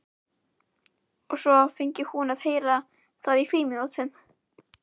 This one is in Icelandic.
Og svo fengi hún að heyra það í frímínútunum.